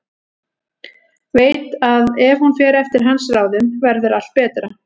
Veit að ef hún fer eftir hans ráðum verður allt betra.